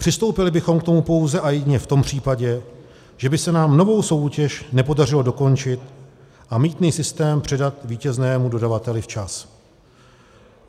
Přistoupili bychom k tomu pouze a jedině v tom případě, že by se nám novou soutěž nepodařilo dokončit a mýtný systém předat vítěznému dodavateli včas.